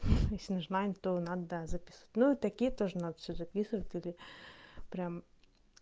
если нажимаем что надо записывать ну и такие тоже надо всё записывать или прямо